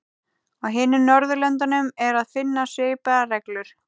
Á hinum Norðurlöndunum er að finna svipaðar reglur.